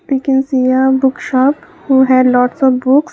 i can see a book shop who had lots of books.